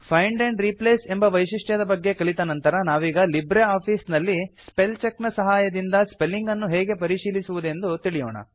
find and replace ಎಂಬ ವೈಶಿಷ್ಟ್ಯದ ಬಗ್ಗೆ ಕಲಿತ ನಂತರ ನಾವೀಗ ಲಿಬ್ರೆ ಆಫೀಸ್ ನಲ್ಲಿ ಸ್ಪೆಲ್ಚೆಕ್ ನ ಸಹಾಯದಿಂದ ಸ್ಪೆಲ್ಲಿಂಗ್ ಅನ್ನು ಹೇಗೆ ಪರಿಶೀಲಿಸುವುದೆಂದು ತಿಳಿಯೋಣ